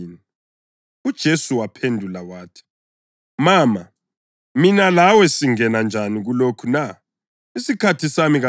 UJesu waphendula wathi, “Mama, mina lawe singena njani kulokho na? Isikhathi sami kasikafiki.”